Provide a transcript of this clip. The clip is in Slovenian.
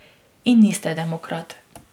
In niste demokrat.